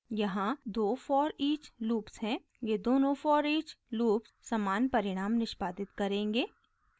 यहाँ दो foreach loops हैं ये दोनों foreach लूप्स समान परिणाम निष्पादित करेंगे